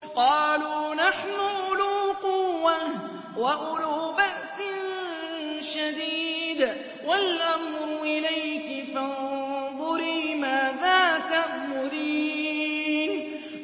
قَالُوا نَحْنُ أُولُو قُوَّةٍ وَأُولُو بَأْسٍ شَدِيدٍ وَالْأَمْرُ إِلَيْكِ فَانظُرِي مَاذَا تَأْمُرِينَ